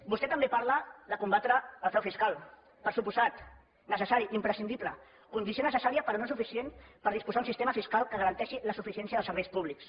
vostè també parla de combatre el frau fiscal per descomptat necessari imprescindible condició necessària però no suficient per disposar d’un sistema fiscal que garanteixi la suficiència dels serveis públics